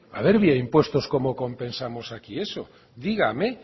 a ver vía impuestos como compensamos aquí eso dígame